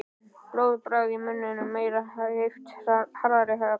Blóðbragð í munninum. meiri heift. harðari högg.